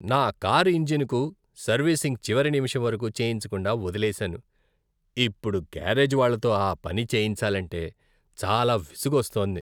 నా కారు ఇంజిన్కు సర్వీసింగ్ చివరి నిమిషం వరకు చేయించకుండా వదిలేసాను, ఇప్పుడు గ్యారేజ్ వాళ్లతో ఆ పని చేయించాలంటే చాలా విసుగొస్తోంది.